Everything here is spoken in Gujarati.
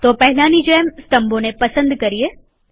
તો પહેલાની જેમ સ્તંભોને પસંદ કરીએ